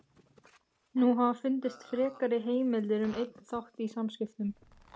Nú hafa fundist frekari heimildir um einn þátt í samskiptum